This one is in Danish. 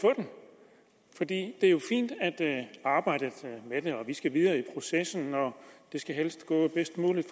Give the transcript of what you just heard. få det er jo fint at arbejde med det vi skal videre i processen og det skal helst gå bedst muligt